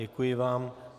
Děkuji vám.